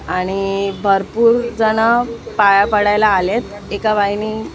आणि भरपूर जण पाया पडायला आलेत एका बाईनी --